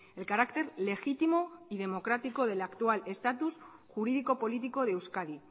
el carácter legítimo y democrático del actual estatus jurídico político de euskadi